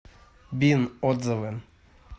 бин отзывы